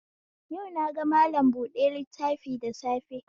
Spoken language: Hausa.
Yau naga mallam buɗe littafi da safe